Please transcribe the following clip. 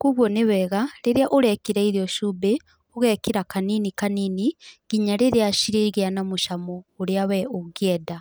Koguo nĩ wega, rĩrĩa ũrekĩra irio cumbĩ, ũgekĩra kanini kanini nginya rĩrĩa cirĩgĩa na mũcamo ũrĩa we ũngĩenda.